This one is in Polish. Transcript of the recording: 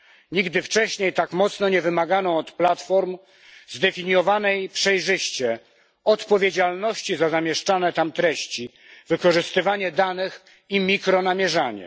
Nigdy wcześniej tak mocno nie wymagano od platform zdefiniowanej przejrzyście odpowiedzialności za zamieszczane tam treści, wykorzystywanie danych i mikronamierzanie.